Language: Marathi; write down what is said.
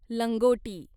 लंगोटी